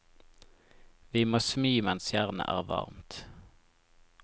Vi må smi mens jernet er varmt.